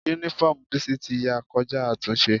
Únífọ́ọ̀mù Bísí ti ya kọjá àtúnṣe